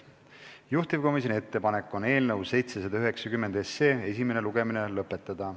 Juhtivkomisjoni ettepanek on eelnõu 790 esimene lugemine lõpetada.